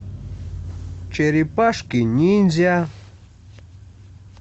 черепашки ниндзя